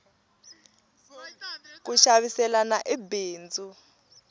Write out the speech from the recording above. ku xaviselana i bindzu